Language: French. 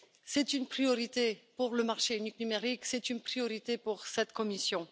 C'est une priorité pour le marché unique numérique, c'est une priorité pour cette Commission.